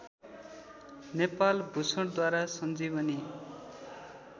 नेपाल भूषणद्वारा संजीवनी